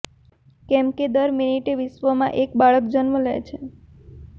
કેમ કે દર મિનટે વિશ્વમા એક બાળક જન્મ લે છે